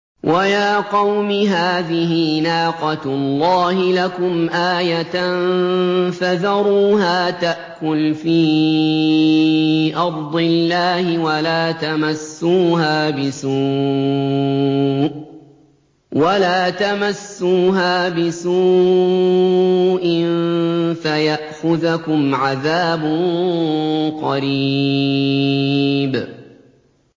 وَيَا قَوْمِ هَٰذِهِ نَاقَةُ اللَّهِ لَكُمْ آيَةً فَذَرُوهَا تَأْكُلْ فِي أَرْضِ اللَّهِ وَلَا تَمَسُّوهَا بِسُوءٍ فَيَأْخُذَكُمْ عَذَابٌ قَرِيبٌ